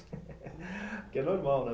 É normal, né